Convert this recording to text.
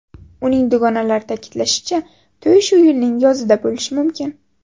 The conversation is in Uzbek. Uning dugonalari ta’kidlashicha, to‘y shu yilning yozida bo‘lishi mumkin.